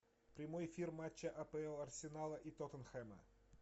прямой эфир матча апл арсенала и тоттенхэма